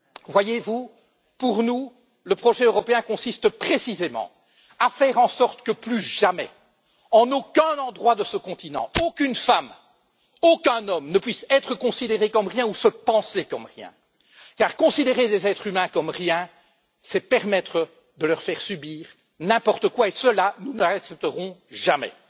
Voyez vous, pour nous, le projet européen consiste précisément à faire en sorte que plus jamais, en aucun endroit de ce continent, aucune femme, aucun homme ne puisse être considéré comme rien ou se penser comme rien, car considérer des êtres humains comme rien, c'est permettre de leur faire subir n'importe quoi, et cela, nous ne l'accepterons jamais.